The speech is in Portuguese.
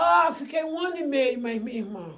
Ah, fiquei um ano e meio mais minha irmã.